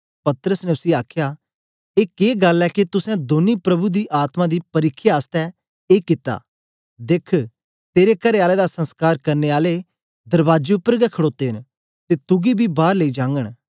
पतरस ने उसी आखया ए के गल्ल ऐ के तुसें दौनीं प्रभु दे आत्मा दी परिख्या आसतै एक कित्ता देख तेरे करेआले दा संसकार करने आले दरबाजे उपर गै खड़ोते न ते तुगी बी बार लेई जागन